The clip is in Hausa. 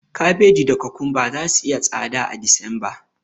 Kabeji da kokomba zasu yi tsada a Disemba.